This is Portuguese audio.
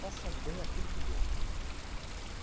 Façam bem aquilo que goste.